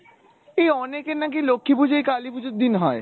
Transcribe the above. এই অনেকের নাকি লক্ষী পূজোই কালি পূজোর দিন হয়।